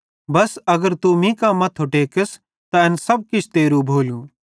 बस अगर तू मीं कां मथ्थो टेकस त एन सब किछ तेरू भोलू